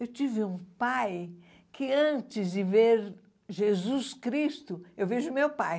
Eu tive um pai que antes de ver Jesus Cristo, eu vejo meu pai.